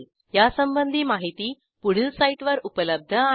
यासंबंधी माहिती पुढील साईटवर उपलब्ध आहे